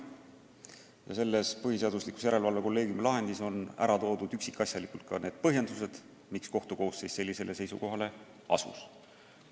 Ja selles põhiseaduslikkuse järelevalve kolleegiumi lahendis on üksikasjalikult ära toodud ka põhjendused, miks kohtukoosseis sellisele seisukohale asus.